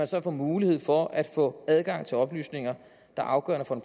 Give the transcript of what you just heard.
så får mulighed for at få adgang til oplysninger der er afgørende for